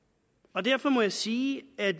og derfor må jeg sige at